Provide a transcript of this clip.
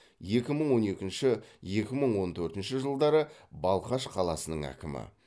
екі мың он екінші екі мың он төртінші жылдары балқаш қаласының әкімі